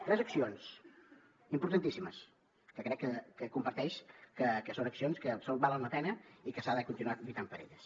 tres accions importantíssimes que crec que comparteix que són accions que valen la pena i que s’ha de continuar lluitant per elles